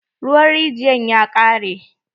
Ruwan rijiyan ya ƙare.